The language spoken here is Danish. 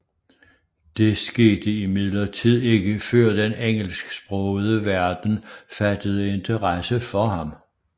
Det skete imidlertid ikke før den engelsksprogede verden fattede interesse for ham